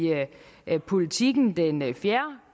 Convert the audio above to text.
politiken den fjerde